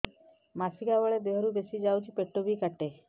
ମାସିକା ବେଳେ ଦିହରୁ ବେଶି ଯାଉଛି ପେଟ ବି କାଟେ